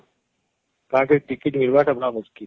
କାନକି Ticket ଟା ମିଳିବା ଟା ବଡ ମୁସ୍କିଲ